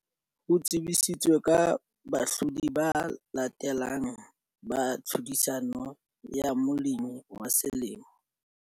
Ho tsebisitswe ka bahlodi ba latelang ba tlhodisano ya Molemi wa Selemo.